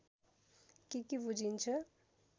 के के बुझिन्छ